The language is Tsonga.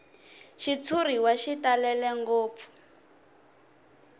xitshuriwa xi talele ngopfu